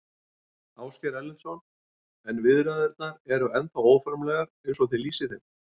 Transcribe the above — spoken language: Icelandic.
Ásgeir Erlendsson: En viðræðurnar eru ennþá óformlegar eins og þið lýsið þeim?